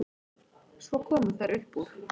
Svo komu þær upp úr.